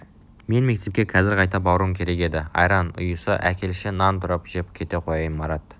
мен мектепке қазір қайта баруым керек еді айран ұйыса әкелші нан турап жеп кете қояйын марат